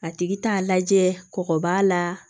A tigi t'a lajɛ kɔgɔ b'a la